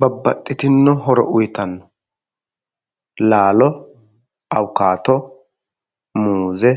Babbaxxitinno horo uyitanno laalo awukaato, muuze